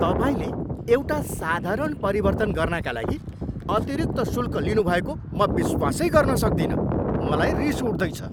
तपाईँले एउटा साधारण परिवर्तन गर्नाका लागि अतिरिक्त शुल्क लिनुभएको म विश्वासै गर्न सक्दिनँ। मलाई रिस उठ्दैछ।